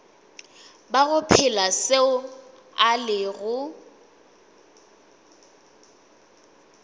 bago phela seo a lego